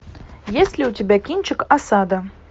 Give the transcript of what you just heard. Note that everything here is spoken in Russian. есть ли у тебя кинчик осада